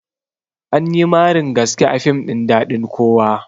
Anyi marin gaske a fim ɗin daɗin kowa